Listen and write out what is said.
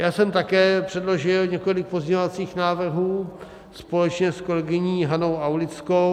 Já jsem také předložil několik pozměňovacích návrhů společně s kolegyní Hanou Aulickou.